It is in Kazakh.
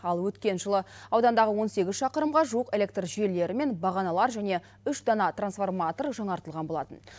ал өткен жылы аудандағы он сегіз шақырымға жуық электр желілері мен бағаналар және үш дана трансформатор жаңартылған болатын